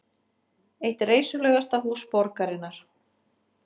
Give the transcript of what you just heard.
Eitt reisulegasta hús borgarinnar